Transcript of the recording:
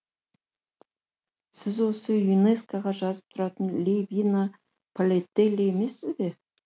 сіз осы юнескоға жазып тұратын ливино палетелли емессіз бе